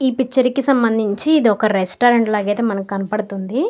ఈ పిక్చర్ కి సంభందించి ఇదొక రెస్టారెంట్ లాగా అయితే మనకి కనబడుతుంది.